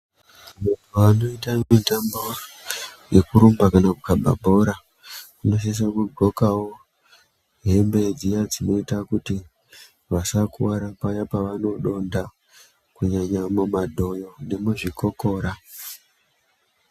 Vanoita mitambo yekurumba kana kukaba bhora vanosisa kudxokawo hembe dzinoita kuti vasakuwara paya pavanodonta kunyanya mumadhoyo nemuzvigokora